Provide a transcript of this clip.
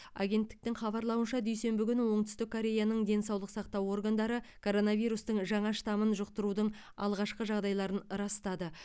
агенттіктің хабарлауынша дүйсенбі күні оңтүстік кореяның денсаулық сақтау органдары коронавирустың жаңа штамын жұқтырудың алғашқы жағдайларын растады